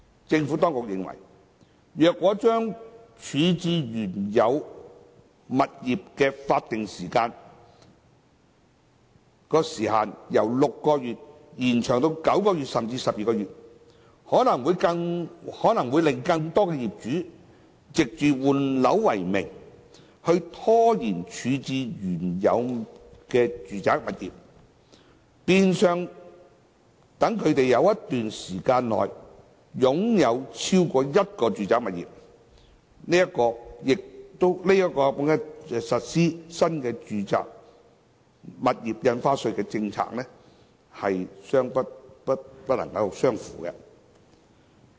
政府當局認為，如果將處置原有物業的法定時限由6個月延長至9個月甚至12個月，可能會令更多業主藉着換樓為名拖延處置原有的住宅物業，變相讓他們在一段長時間內擁有超過一個住宅物業，這亦與實施新住宅印花稅的政策目標不相符。